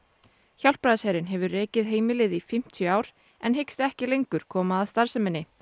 Hjálpræðisherinn hefur rekið heimilið í fimmtíu ár en hyggst ekki lengur koma að starfsemi